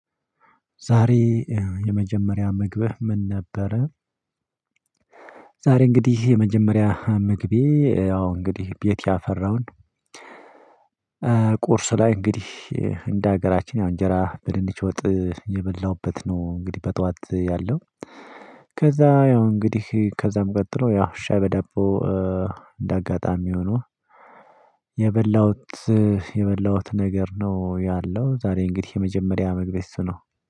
ዛሬ የመጀመሪያ ምግብህ ምን ነበረ? ዛሬ እንግዲህ የመጀመሪያ ምግቤ ያው እንግዲህ ቤት ያፈራውን ቁርስ ላይ እንግዲህ እንደ ሀገራችን እንጀራ በድንች ወጥ የበላሁበት ነው እንግዲህ በጧዋት ያለው። ከዛ ያው እንግዲህ ከዛም ቀጥሎ ያው ሻይ በደቦ እንደ አጋጣሚ ሆኖ። የበላሁት የበላሁት ነገር ነው ያለው ዛሬ እንግዲህ የመጀመሪያ ምግቤ እሱ ነው።